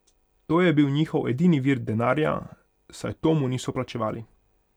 To je bil njihov edini vir denarja, saj Tomu niso plačevali.